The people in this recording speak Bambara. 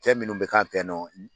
Fɛn minnu bɛ k'an fɛ ye nɔ